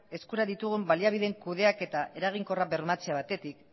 eskura ditugun baliabideen kudeaketa eraginkorra bermatzea batetik